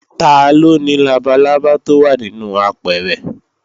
Taló ni labalábá tó wà nínú apẹ̀rẹ̀?